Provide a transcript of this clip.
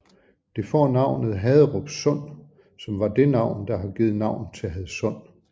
Det får navnet Haderup Sund som var det navn der har givet navn til Hadsund